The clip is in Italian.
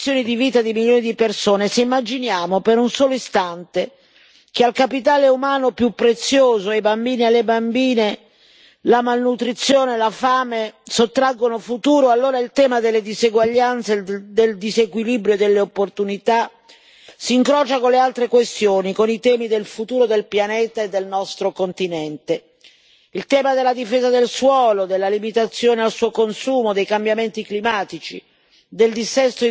Se pensiamo alle condizioni di vita di milioni di persone, se immaginiamo, per un solo istante, che al capitale umano più prezioso, ai bambini e alle bambine, la malnutrizione e la fame sottraggono il futuro, allora il tema delle diseguaglianze, del disequilibrio e delle opportunità si incrocia con le altre questioni, con i temi del futuro del pianeta e del nostro continente, con il tema della difesa del suolo, della limitazione al suo consumo, dei cambiamenti climatici,